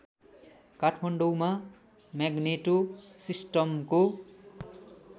काठमाडौँमा म्याग्नेटो सिस्टमको